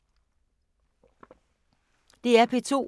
DR P2